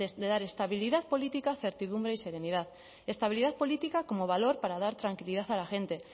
de dar estabilidad política certidumbre y serenidad estabilidad política como valor para dar tranquilidad a la gente